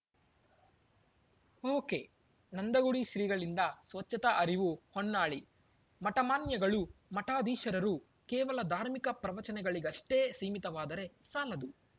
ಒಕೆನಂದಗುಡಿ ಶ್ರೀಗಳಿಂದ ಸ್ವಚ್ಛತಾ ಅರಿವು ಹೊನ್ನಾಳಿ ಮಠಮಾನ್ಯಗಳು ಮಠಾಧೀಶರು ಕೇವಲ ಧಾರ್ಮಿಕ ಪ್ರವಚನಗಳಿಗಷ್ಟೇ ಸೀಮೀತವಾದರೆ ಸಾಲದು